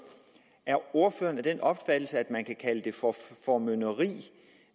er ordføreren af den opfattelse at man kan kalde det formynderi